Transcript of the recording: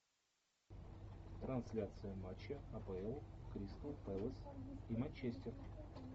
трансляция матча апл кристал пэлас и манчестер